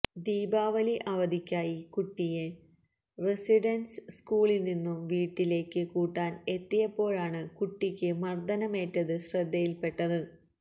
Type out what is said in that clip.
ദിപാവലി അവധിക്കായി കുട്ടിയെ റസിഡന്സ് സ്കൂളില് നിന്നും വിട്ടിലേക്ക് കൂട്ടാന് എത്തിയപ്പോഴാണ് കുട്ടിയുക്ക് മര്ദനമേറ്റത് ശ്രദ്ധയില്പെട്ടത്